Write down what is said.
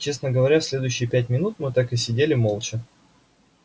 честно говоря следующие пять минут мы так и сидели молча